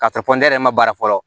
K'a fɔ ko ne yɛrɛ ma baara fɔlɔ